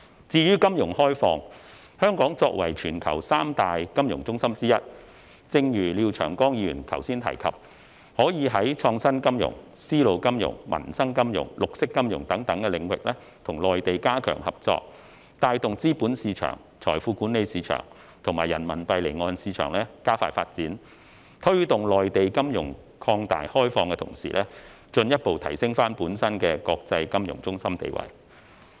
至於金融開放，香港作為全球三大金融中心之一，正如廖長江議員剛才提及，可在創新金融、絲路金融、民生金融、綠色金融等領域，與內地加強合作，帶動資本市場、財富管理市場和人民幣離岸市場加快發展，推動內地金融擴大開放的同時，進一步提升本身國際金融中心地位。